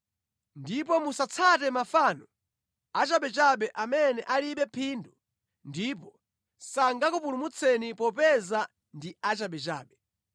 Ndipo musatsate mafano achabechabe amene alibe phindu ndipo sangakupulumutseni popeza ndi achabechabe.